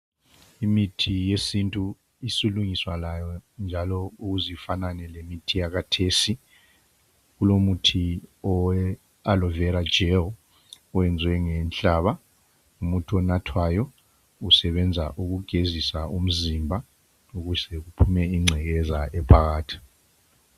Imithi yesintu isilungiswa layo njalo ukuze ifanane lemithi yakhathesi kulomuthi owe alovera jeli oyenzwe ngehlaba ngumuthi onathwayo usebenza ukugezisa umzimba, ukuze kukhiphe incekeza ephakathi.